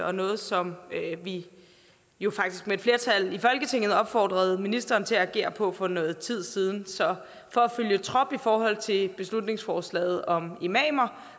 og noget som vi jo faktisk med et flertal i folketinget opfordrede ministeren til at agere på for noget tid siden så for at følge trop i forhold til beslutningsforslaget om imamer